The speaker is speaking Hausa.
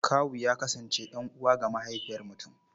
Kawu ya kasance ɗan'uwa ga mahaifiyar mutum.